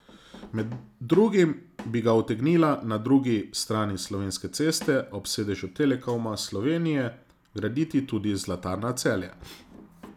Med drugim bi ga utegnila na drugi strani Slovenske ceste, ob sedežu Telekoma Slovenije, graditi tudi Zlatarna Celje.